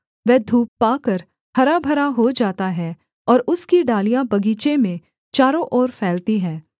वह धूप पाकर हरा भरा हो जाता है और उसकी डालियाँ बगीचे में चारों ओर फैलती हैं